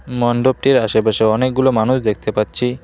মন্ডপটির আশেপাশে অনেকগুলো মানুষ দেখতে পাচ্ছি।